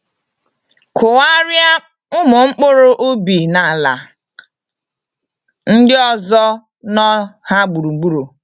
Kụgharia umu mkpụrụ ubi n'ala ndị ozo nọ ha gburugburu.